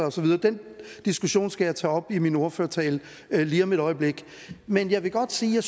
og så videre den diskussion skal jeg tage op i min ordførertale lige om et øjeblik men jeg vil godt sige at